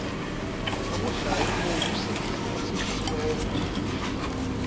abudlayo ubomi osindisiweyo